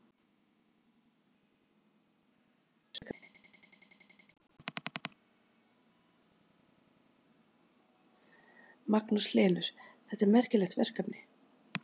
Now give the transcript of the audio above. Magnús Hlynur: Þetta er merkilegt verkefni?